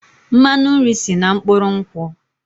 Mmanụ nri si na mkpụrụ nkwụ